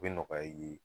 U bɛ nɔgɔya i ye